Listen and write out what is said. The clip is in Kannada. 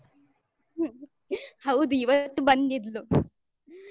ಹ್ಮ್ ಹೌದು ಇವತ್ತು ಬಂದಿದ್ಲು.